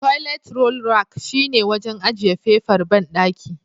Toilet roll rack shine wajen ajiye fefar banɗaki.